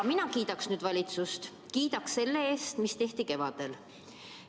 Mina kiidaks nüüd valitsust, kiidaks selle eest, mis tehti kevadel.